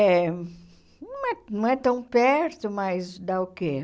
É, não é não é tão perto, mas dá o quê?